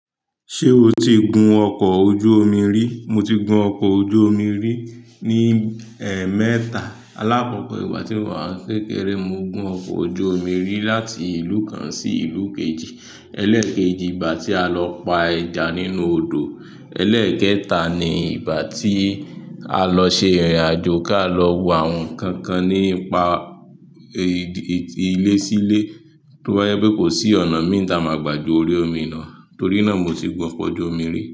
Ṣé o ti gun ọkọ̀ ojú omi rí? Mo ti gun ọkọ̀ ojú omi rí ní ẹ mẹta. Alakọ̀kọ ìgbà tí mo wá ń kékeré, mo gun ọkọ̀ ojú omi rí láti ìlú kan sí ìlú kejì. Ẹlẹ́ẹ̀kejì ìgbà tí a lọ pa ẹja nínú odò. Ẹlẹ́ẹ̀kẹta ni ìgbà tí a lọ ṣe ìrìnàjò kí a lọ wo àwọn nnkan kan nípa ìdí-ìdí ilé sí ilé to ba je pé kò sí ọ̀nà míi tá gbà de orí omi náà. Torí náà mo ti gun ọkọ̀ ojú omi rí.